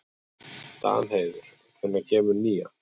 Danheiður, hvenær kemur nían?